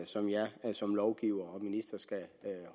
som jeg som lovgiver og minister skal